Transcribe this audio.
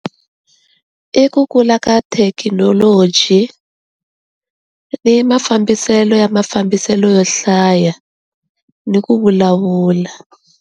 I ku kula ka thekinoloji ni mafambiselo ya mafambiselo yo hlaya ni ku vulavula.